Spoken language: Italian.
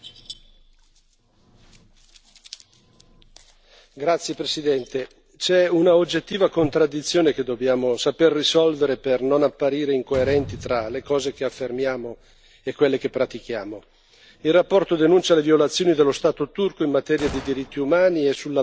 Signor Presidente, onorevoli colleghi, c'è un'oggettiva contraddizione che dobbiamo saper risolvere per non apparire incoerenti tra le cose che affermiamo e quelle che pratichiamo. La relazione denuncia le violazioni dello Stato turco in materia di diritti umani e sulla base di ciò giustifica la sospensione del negoziato di adesione,